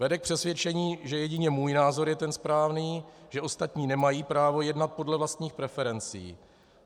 Vede k přesvědčení, že jedině můj názor je ten správný, že ostatní nemají právo jednat podle vlastních preferencí.